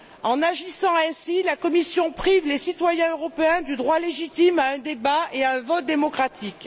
En agissant ainsi, la Commission prive les citoyens européens du droit légitime à un débat et à un vote démocratique.